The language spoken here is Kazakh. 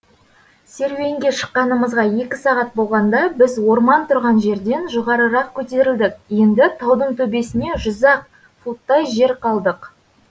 серуенге шыққанымызға екі сағат болғанда біз орман тұрған жерден жоғарырақ көтерілдік енді таудың төбесіне жүз ақ футтай жер қалдық